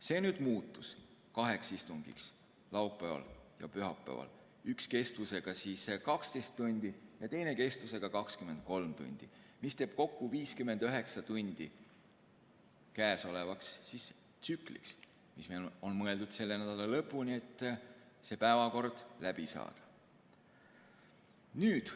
See muutus kaheks istungiks laupäeval ja pühapäeval, üks kestusega 12 tundi ja teine kestusega 23 tundi, mis teeb kokku 59 tundi käesolevaks tsükliks, mis on mõeldud selle nädala lõpuni, et see päevakord läbi saada.